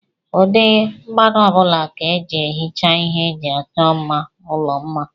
Ụdị mmanụ ọbụla ka eji ehicha ihe eji achọ mma ụlọ mma.